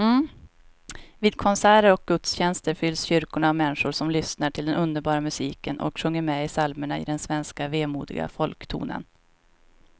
Vid konserter och gudstjänster fylls kyrkorna av människor som lyssnar till den underbara musiken och sjunger med i psalmerna i den svenska vemodiga folktonen.